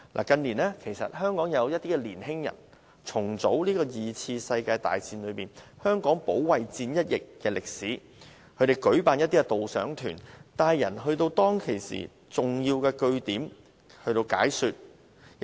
近年，香港有些年輕人重組了第二次世界大戰中香港保衞戰一役的歷史，他們會舉辦導賞團帶人到當時的重要據點，向參加者解說有關歷史。